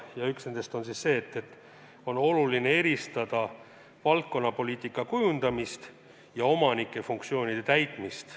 Üks nendest on see, et "on oluline eristada valdkonnapoliitika kujundamist ja omaniku funktsioonide täitmist".